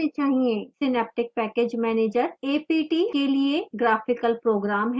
synaptic package manager a p t के लिए graphical program है